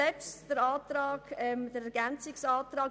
Betreffend den Ergänzungsantrag: